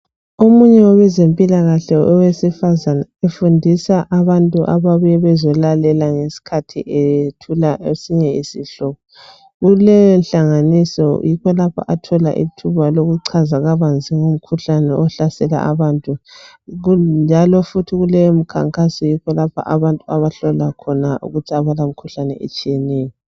Omunye wabezempila kahle owesifazana ufundisa abantu ababuye bezolalela ngesikhathi eyethula esinye isihloko kuleyo nhlanganiso yikho lapho athola ithuba lokuchaza kabanzi ngomkhuhlane ohlasela abantu njalo futhi kuleyo mikhankaso yikho lapho abantu abahlolwa khona ukuthi abala mikhuhlane etshiyeneyo